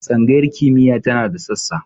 Tsangayar kimiyya tana da sassa.